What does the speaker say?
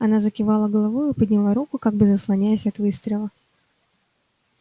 она закивала головою и подняла руку как бы заслоняясь от выстрела